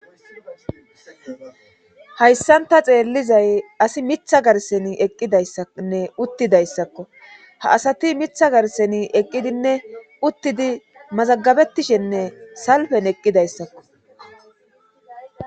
Hayssanta xeellizay asi mitha garseni eqqidayssanne uttidayssakko ha asati mitha garseni eqqidinne uttidi mazagabettishenne salfen eqqidayssakko